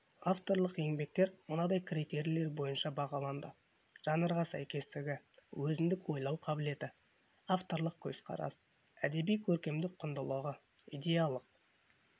авторлық еңбектер мынадай критерийлер бойынша бағаланды жанрға сәйкестігі өзіндік ойлау қабілеті авторлық көзқарас әдеби-көркемдік құндылығы идеялық